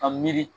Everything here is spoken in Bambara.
Ka miiri